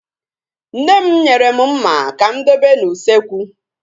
Nne m nyere mụ mma ka mụ dobe n'usekwu